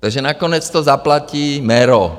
Tak nakonec to zaplatí MERO.